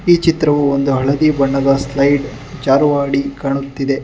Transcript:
ಈ ಚಿತ್ರವು ಒಂದು ಹಳದಿ ಬಣ್ಣದ ಸ್ಲೈಡ್ ಜಾರು ಆಡಿ ಕಾಣುತ್ತಿದೆ.